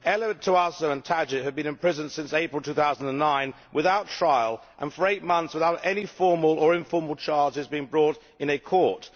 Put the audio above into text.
Elód Tóásó and Mario Tadic have been in prison since April 2009 without trial and, for eight months, without any formal or informal charges brought in a court.